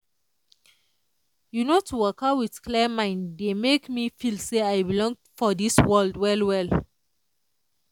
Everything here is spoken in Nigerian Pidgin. you know to waka with clear mind dey make me feel say i belong for this world well well.